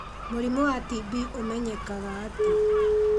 Mũrimũ wa TB ũmenyekaga atĩa?